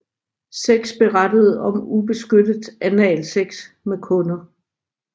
Seks berettede om ubeskyttet analsex med kunder